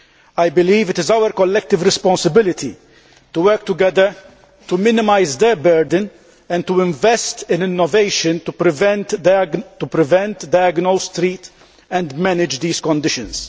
I believe it is our collective responsibility to work together to minimise their burden and to invest in innovation to prevent, diagnose, treat and manage these conditions.